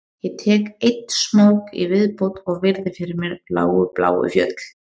Ég tek einn smók í viðbót og virði fyrir mér lágu bláu fjöll